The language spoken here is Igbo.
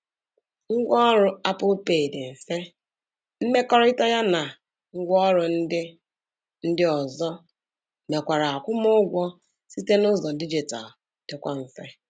Ngwa ọrụ Apple pay dị mfe, mmekọrịta ya na ngwa ọrụ ndị ndị ozo mekwara akwụmụụgwọ site n'ụzọ dijitalu dịkwa mfe.